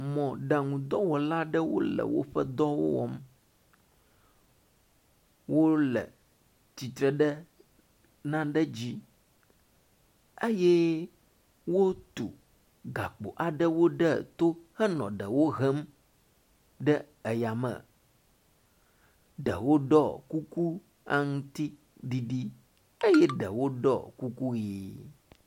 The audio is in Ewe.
Mɔɖaŋudɔwɔla ɖewo le woƒe dɔwo wɔm. Wo le tsitre ɖe nane dzi eye wotu gakpo aɖewo ɖe to henɔ ɖewo hem ɖe eya me. Ɖewo ɖɔ kuku aŋtiɖiɖi eye ɖewo ɖɔ kuku ʋi.